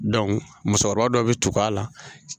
musokɔrɔba dɔw bɛ tugu a la.